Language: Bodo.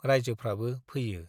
राइजोफ्राबो फैयो।